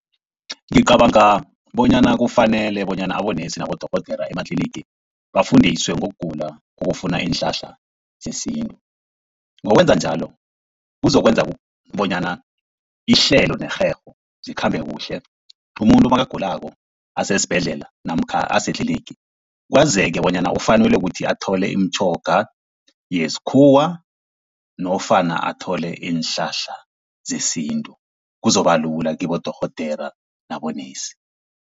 Ngicabanga bonyana kufanele bonyana abonesi nabodorhodera ematlinigi bafundiswe ngokugula okufuna iinhlahla zesintu. Ngokwenza njalo kuzokwenza bonyana ihlelo nerherho zikhambe kuhle, umuntu nakagulako asesibhedlela namkha asetlinigi kwazeke bonyana ufanelwe kukuthi athole imitjhoga yesikhuwa nofana athole iinhlahla zesintu. Kuzokuba lula kibodorhodera nabonesi.